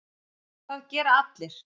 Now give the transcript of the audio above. Það gera allir.